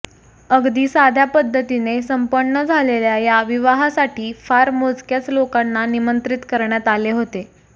अगदी सध्या पद्धतीने संपन्न झालेल्या या विवाहासाठी फार मोजक्याच लोकांना निमंत्रित करण्यात आले होते